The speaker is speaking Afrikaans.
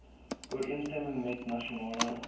ooreenstemming met nasionale